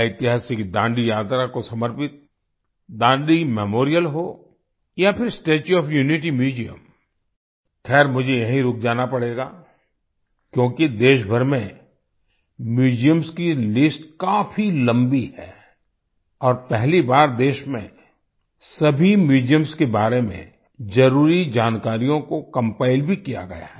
ऐतिहासिक दांडी यात्रा को समर्पित दांडी मेमोरियल हो या फिर स्टेच्यू ओएफ यूनिटी म्यूजियम खैर मुझे यहीं रुक जाना पड़ेगा क्योंकि देशभर में Museumsकी लिस्ट काफ़ी लम्बी है और पहली बार देश में सभी म्यूजियम्स के बारे में जरुरी जानकारियों को कंपाइल भी किया गया है